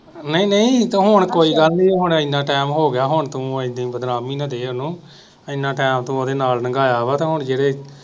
ਨਹੀਂ ਨਹੀਂ ਤੇ ਹੁਣ ਕੋਈ ਗੱਲ ਨੀ ਹੁਣ ਇਨ੍ਹਾਂ ਟਾਈਮ ਹੋਗਿਆ ਹੁਣ ਤੂੰ ਇੰਨੀ ਬਦਨਾਮੀ ਨਾ ਦੇ ਉਹਨੂੰ ਇਹਨਾਂ ਟਾਈਮ ਤੂੰ ਓਦੇ ਨਾਲ ਨੰਗਾਇਆ ਵਾ ਤੇ ਹੁਣ ਜਿਹੜੇ